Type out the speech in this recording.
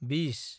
बिस